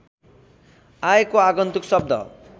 आएको आगन्तुक शब्द